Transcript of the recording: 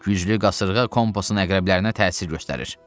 Güclü qasırğa kompasın əqrəblərinə təsir göstərir.